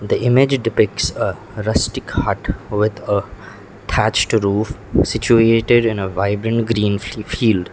the image depicts a rustic hut with a thatched roof situated in a vibrant green fi field.